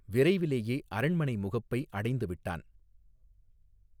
விரைவிலேயே அரண்மனை முகப்பை அடைந்துவிட்டான்.